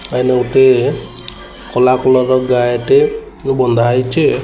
ଏଇନେ ଗୋଟେ ଖୋଲା କଲର୍ ର ଗାଈଟି ବନ୍ଧା ହୋଇଛି।